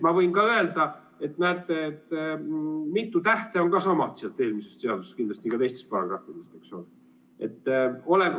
Ma võin ka öelda, et näete, mitu tähte on ka samad sealt eelmisest seadusest, kindlasti ka teistes paragrahvides, eks ole.